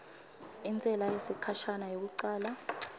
intsela yesikhashana yekucala